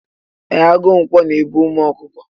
E, agụ ǹkwọ na e bu umu ọkụkọ.